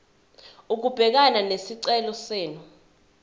ukubhekana nesicelo senu